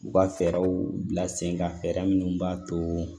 U ka fɛɛrɛw bila sen kan fɛɛrɛ minnu b'a to